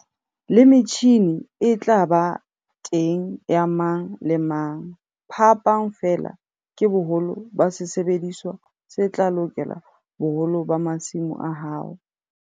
Le metjhine e tla ba teng ya mang le mang. Phapang feela ke boholo ba sesebediswa se tla lokela boholo ba masimo a hao.